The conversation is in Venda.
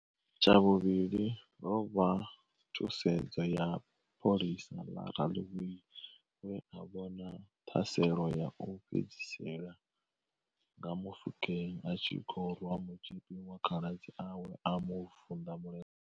Tshavhuvhili ho vha thusedzo ya pholisa ḽa raḽiwei we a vhona ṱhaselo ya u fhedzisela nga Mofokeng a tshi khou rwa mutzhipi wa khaladzi awe a mu vunḓa mulenzhe.